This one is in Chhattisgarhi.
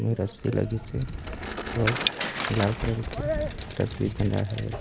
रस्सी लगी से और लाल कलर के रस्सी बँधाय हवे।